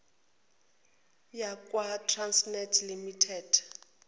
yakwa trasnet limited